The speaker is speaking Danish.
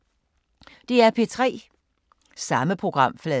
DR P3